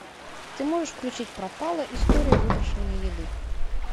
ты можешь включить пропала история выброшенной еды